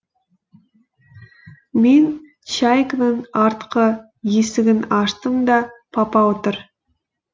мен чайканың артқы есігін аштым да папа отыр